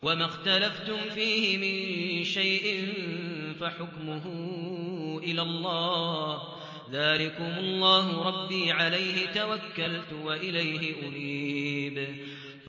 وَمَا اخْتَلَفْتُمْ فِيهِ مِن شَيْءٍ فَحُكْمُهُ إِلَى اللَّهِ ۚ ذَٰلِكُمُ اللَّهُ رَبِّي عَلَيْهِ تَوَكَّلْتُ وَإِلَيْهِ أُنِيبُ